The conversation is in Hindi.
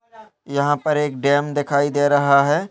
यहां पर एक डैम दिखाई दे रहा है।